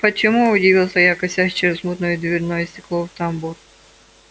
почему удивился я косясь через мутное дверное стекло в тамбур